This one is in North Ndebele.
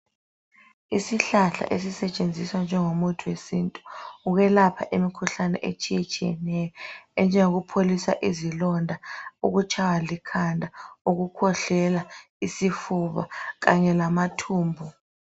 Isihlahla esisetshenziswa njengomuthi wesintu ukwelapha imikhuhlane etshiyetshiyeneyo, enjengokupholisa izilonda, ukutshaywa likhanda, ukukhwehlela, isifuba, kanye lamathumbu.